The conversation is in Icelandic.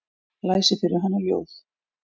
Lesi fyrir hana ljóð.